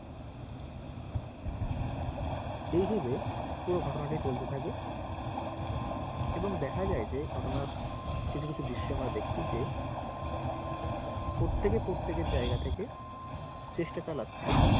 এই ভেবে পুরো ঘটনাটি চলতে থাকে এবং দেখা যাই যে ঘটনার কিছু কিছু দৃশ্য আমরা দেখছি যে প্রত্যেকে প্রত্যেক এর জায়গা থেকে চেষ্টা চালাচ্ছে